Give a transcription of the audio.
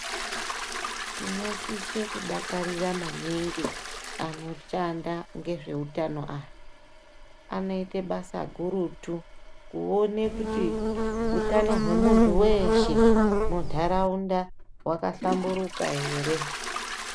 Tinosise kudakarira maningi anoshanda ngezveutano aya anoite basa gurutu kuone kuti utano hwemuntu weshe mundaraunda wakahlamburika ere.